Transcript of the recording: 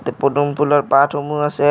পদুম ফুলৰ পাতসমূহ আছে।